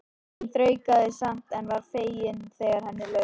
Hún þraukaði samt en var fegin þegar henni lauk.